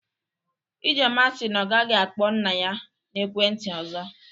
Ijeoma si na ọ gaghị akpọ nna ya n'ekwe ntị ọzọ